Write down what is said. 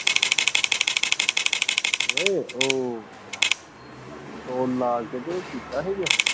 ਨਹੀਂ ਉ ਉਹ ਲਾਹ ਕੇ ਤੇ ਕੀਤਾ ਸੀਗਾ